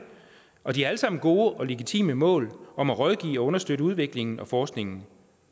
og de har alle sammen gode og legitime mål om at rådgive og understøtte udviklingen og forskningen